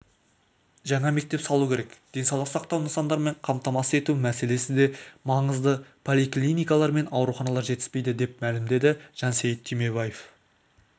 жаңа мектеп салу керек денсаулық сақтау нысандарымен қамтамасыз ету мәселесі де маңызды поликлиникалар мен ауруханалар жетіспейді деп мәлімдеді жансейіт түймебаев